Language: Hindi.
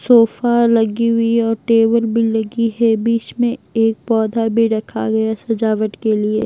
सोफा लगी हुई है और टेबल भी लगी है बीच में एक पौधा भी रखा गया सजावट के लिए।